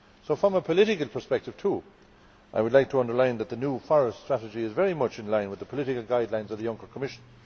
From a political perspective too, I would like to underline that the new forest strategy is very much in line with the political guidelines of the Juncker Commission.